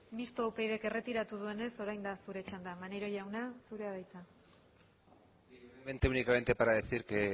mistoa upydk erretiratu duenez orain da zure txanda maneiro jauna zurea da hitza muy brevemente únicamente para decir que